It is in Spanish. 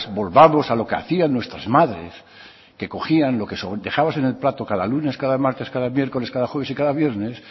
volvamos a lo que hacían nuestras madres que cogían lo que dejabas en el plato cada lunes cada martes cada miércoles cada jueves y cada viernes